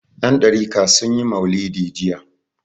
Yandariƙa sun yi maulidi jiya.